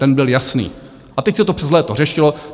Ten byl jasný, a teď se to přes léto řešilo.